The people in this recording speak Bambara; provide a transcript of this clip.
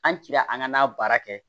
An cira an ka n'a baara kɛ